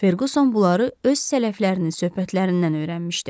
Ferquson bunları öz sələflərinin söhbətlərindən öyrənmişdi.